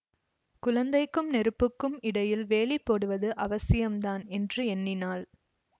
குழந்தைக்கும் நெருப்புக்கும் இடையில் வேலி போடுவது அவசியந்தான் என்று எண்ணினாள்